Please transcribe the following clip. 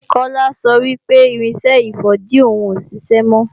Kola sọ wí pé irinṣẹ́ ìfọ̀dí òhun kò ṣiṣẹ́ mọ́